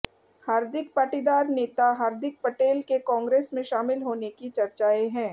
हार्दिक पाटीदार नेता हार्दिक पटेल के कांग्रेस में शामिल होने की चर्चाएं हैं